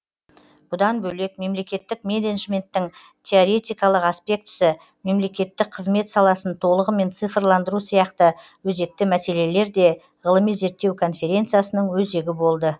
бұдан бөлек мемлекеттік менеджменттің теоретикалық аспектісі мемлекеттік қызмет саласын толығымен цифрландыру сияқты өзекті мәселелер де ғылыми зерттеу конференциясының өзегі болды